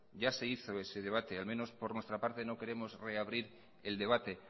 ya se hizo ese debate al menos por nuestra parte no queremos reabrir el debate